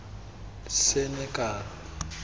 senekal